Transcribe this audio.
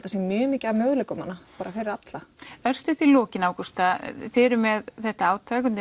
það sé mjög mikið af möguleikum þarna fyrir alla örstutt í lokin Ágústa þið eruð með þetta átak undir